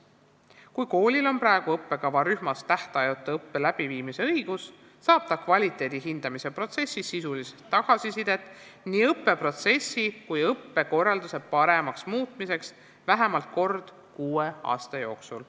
Kui koolil on praegu õppekavarühmas tähtajatu õppe läbiviimise õigus, saab ta kvaliteedi hindamise protsessis sisuliselt tagasisidet nii õppeprotsessi kui ka õppekorralduse paremaks muutmiseks vähemalt kord kuue aasta jooksul.